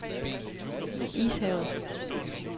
Ishavet